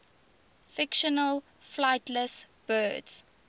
fictional flightless birds